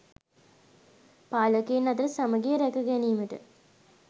පාලකයන් අතර සමඟිය රැක ගැනීමට